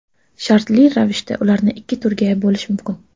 Shartli ravishda ularni ikki turga bo‘lish mumkin.